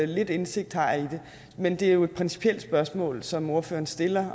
lidt indsigt har jeg i det men det er et principielt spørgsmål som ordføreren stiller